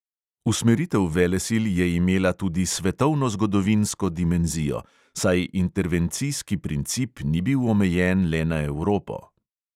Usmeritev velesil je imela tudi svetovnozgodovinsko dimenzijo, saj intervencijski princip ni bil omejen le na evropo.